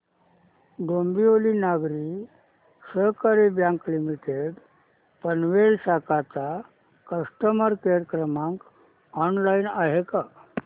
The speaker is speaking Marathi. डोंबिवली नागरी सहकारी बँक लिमिटेड पनवेल शाखा चा कस्टमर केअर क्रमांक ऑनलाइन आहे का